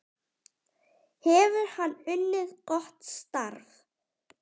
Hefur hann unnið gott starf?